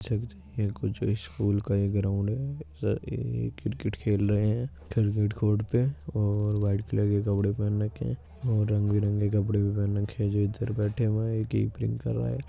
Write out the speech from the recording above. कुछ स्कूल का एक ग्राउंड है ऐ ए क्रिकेट खेल रहे हैंक्रिकेट कोर्ट पे और वाइट कलर के कपड़े पहन रखे है और रंग-बिरंगे कपड़े भी पहन रखें हैं जो इधर बैठे हुये हैं कीप्रिंग कर रहा है।